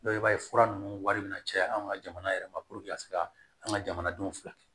i b'a ye fura ninnu wari bɛ na caya an ka jamana yɛrɛ ma ka se ka an ka jamanadenw fila kɛ